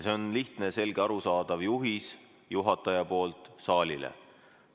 See on lihtne, selge, arusaadav juhis juhatajalt saalile.